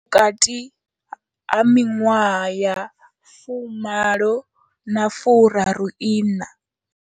Vhukati ha miṅwaha ya 18 na 34.